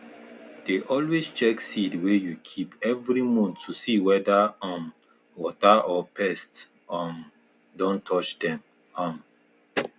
dey always check seed wey you keep every month to see whether um water or pest um don touch dem um